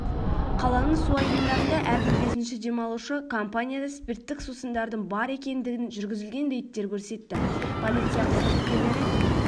қаланың су айдындарында әрбір бесінші демалушы компанияда спирттік сусындардың бар екендінін жүргізілген рейдттер көрсетті полиция қызметкерлері